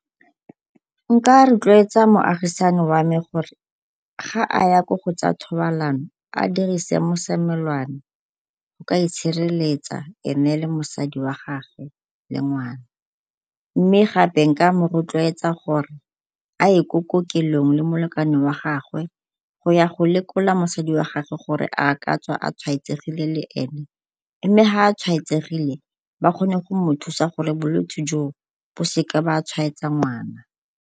Nka rotloetsa moagisani wa me gore ga a ya ko go tsa thobalano a dirise mosomelwana go ka itshireletsa ene le mosadi wa gagwe le ngwana, mme gape nka mo rotloetsa gore a ye ko kokelong le molekane wa gagwe go ya go lekola mosadi wa gagwe gore a ka tsa a tshwaetsegile le ene, mme ga a tshwaetsegile ba kgone go mo thusa gore bolwetsi joo bo seke ba tshwaetsa ngwana.